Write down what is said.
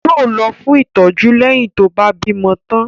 Yóò lọ fún ìtọ́jú leyin tó bá bímọ tán